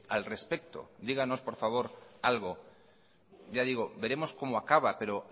al respecto digamos por favor algo ya digo veremos cómo acaba pero